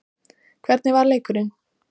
Hvernig var leikurinn?